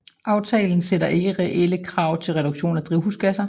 Aftalen sætter ikke reelle krav til reduktion af drivhusgasser